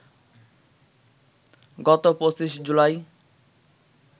গত ২৫ জুলাই